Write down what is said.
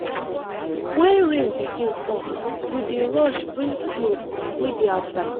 wen rain begin fall we dey rush bring clothes wey dey outside.